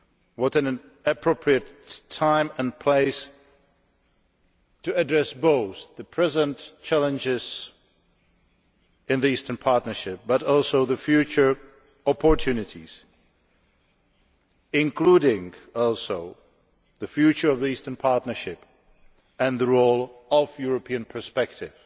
What an appropriate time and place to address both the current challenges in the Eastern Partnership and future opportunities, including the future of the Eastern Partnership and the role of the European perspective